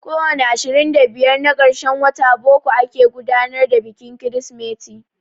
Ko wani ashirin da biyar na karshen watan boko ake gudanar da bikin Kirsimeti.